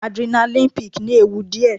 Adrenaline peak ní ewu díẹ̀.